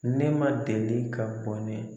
Ne ma deli ka bɔnɛ.